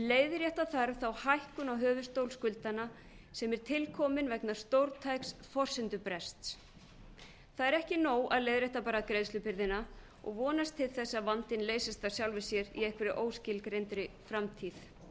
leiðrétta þarf þá hækkun á höfuðstól skuldanna sem er til komin vegna stórtæks forsendubrests það er ekki nóg að leiðrétta bara greiðslubyrðina og vonast til þess að vandinn leysist af sjálfu sér í einhverri óskilgreindri framtíð